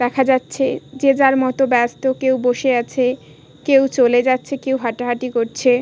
দেখা যাচ্ছে যে যার মত ব্যস্ত কেউ বসে আছে কেউ চলে যাচ্ছে কেউ হাটাহাটি করছে ।